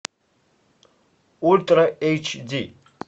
ультра эйч ди